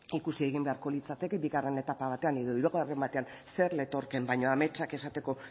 ikusi egin beharko litzateke bigarren etapa batean edo hirugarren batean zer letorkeen baina ametsak esateko